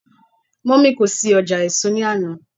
mummy kò sí ọjà èso ni Ana.